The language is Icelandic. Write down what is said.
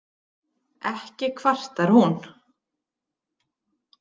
Ekki kvartar hún